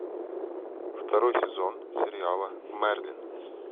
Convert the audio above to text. второй сезон сериала мерлин